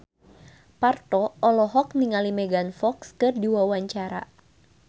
Parto olohok ningali Megan Fox keur diwawancara